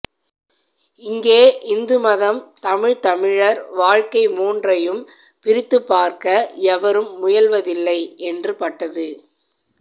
இங்கே இந்துமதம் தமிழ் தமிழர் வாழ்க்கை மூன்றையும் பிரித்துப்பார்க்க எவரும் முயல்வதில்லை என்று பட்டது